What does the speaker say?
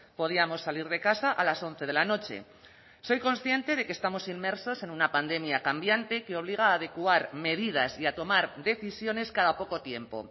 podíamos salir de casa a las once de la noche soy consciente de que estamos inmersos en una pandemia cambiante que obliga a adecuar medidas y a tomar decisiones cada poco tiempo